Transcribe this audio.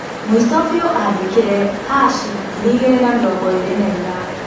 Mũico biu andĩkire '#2024'